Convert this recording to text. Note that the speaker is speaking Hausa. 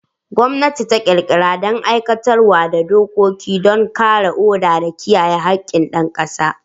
Gwamnati ta ƙirƙira da aiwatar da dokoki don kiyaye oda da kare haƙƙin ƴan ƙasa.